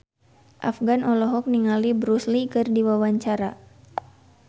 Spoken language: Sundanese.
Afgan olohok ningali Bruce Lee keur diwawancara